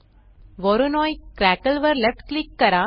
Voronoi crackle वर left click करा